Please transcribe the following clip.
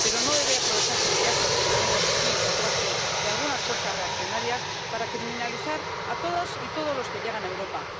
Pero no debe aprovecharse el viaje, como vemos que hacen aquí algunas fuerzas reaccionarias, para criminalizar a todas y todos los que llegan a Europa.